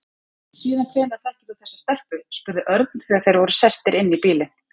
Síðan hvenær þekkir þú þessa stelpu? spurði Örn þegar þeir voru sestir inn í bílinn.